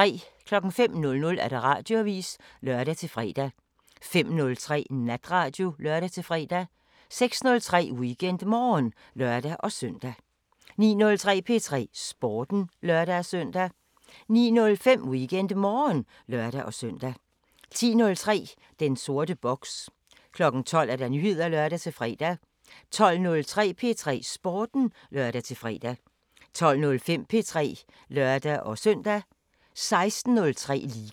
05:00: Radioavisen (lør-fre) 05:03: Natradio (lør-fre) 06:03: WeekendMorgen (lør-søn) 09:03: P3 Sporten (lør-søn) 09:05: WeekendMorgen (lør-søn) 10:03: Den sorte boks 12:00: Nyheder (lør-fre) 12:03: P3 Sporten (lør-fre) 12:05: P3 (lør-søn) 16:03: Liga